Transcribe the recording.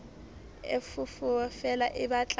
e foofo feela e batla